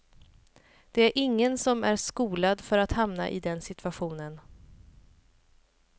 Det är ingen som är skolad för att hamna i den situationen.